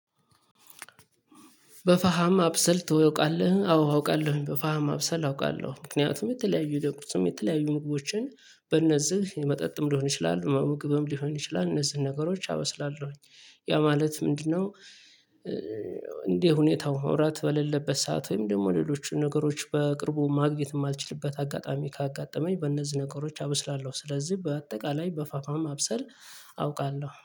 በፋሃም አብሰል ታውቃልህ አዎ አውቃለሁኝ በፋሃም አብሰል አውቃለሁ ምክንያቱም የተለያዩ ለቁርስም የተለያዩ ምግቦችን በእነዚህ መጠጥም ሊሆን ይችላል መምግብም ሊሆን ይችላል እነዚህን ነገሮች አበስላለሁኝ። ያ ማለት ምንድነው? እንደ ሁኔታው መውራት በሌለበት ሰዓት ወይም ደግሞ ሌሎቹን ነገሮች በቅርቡ ማግኘት የማልችልበት አጋጣሚ ካጋጠመኝ በእነዚህ ነገሮች አበስላለሁ። ስለዚህ በአጠቃላይ በፋፋም ማብሰል አውቃለሁ